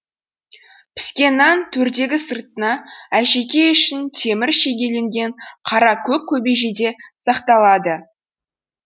піскен нан төрдегі сыртына әшекей үшін темір шегеленген қара көк көбежеде сақталады